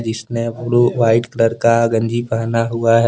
जिसने blue white colour का गंजी पहना हुआ है।